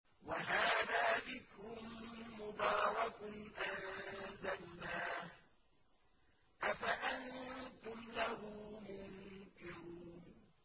وَهَٰذَا ذِكْرٌ مُّبَارَكٌ أَنزَلْنَاهُ ۚ أَفَأَنتُمْ لَهُ مُنكِرُونَ